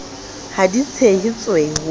ha di tshehe tswe ho